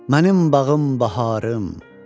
Mənim bağım baharım.